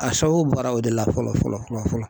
A sababu bɔra o de la fɔlɔ fɔlɔ fɔlɔ fɔlɔ